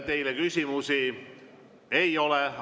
Teile küsimusi ei ole.